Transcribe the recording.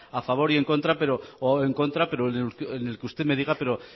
a favor o en contra pero en el que usted me diga pero